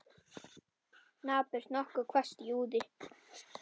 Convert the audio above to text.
Napurt, nokkuð hvasst og úði.